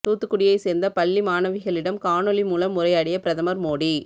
தூத்துக்குடியை சேர்ந்த பள்ளி மாணவிகளிடம் காணொலி மூலம் உரையாடிய பிரதமர் மோடி